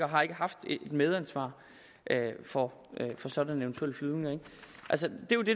har ikke haft et medansvar for for sådanne flyvninger altså det